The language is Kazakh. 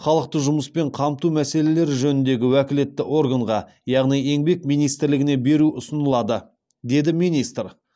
халықты жұмыспен қамту мәселелері жөніндегі уәкілетті органға яғни еңбек министрлігіне беру ұсынылады деді министр